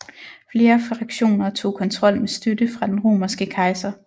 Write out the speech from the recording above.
Flere fraktioner tog kontrol med støtte fra den romerske kejser